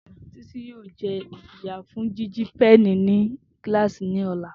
Titi yoo jẹ ijiya fun jiji péènì ni kilasi ni ọla.